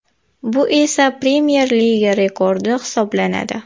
Bu esa Premyer Liga rekordi hisoblanadi.